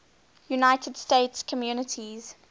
united states communities